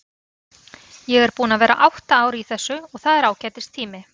Ég er búinn að vera átta ár í þessu og það er ágætis tími.